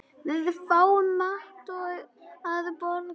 Við fáum mat að morgni.